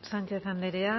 sánchez andrea